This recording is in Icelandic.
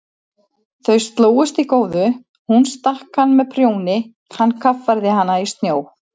Þau slógust í góðu, hún stakk hann með prjóni, hann kaffærði hana í snjó.